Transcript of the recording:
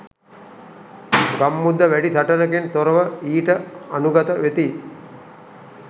ගම්මුද වැඩි සටනකින් තොරව ඊට අනුගත වෙති.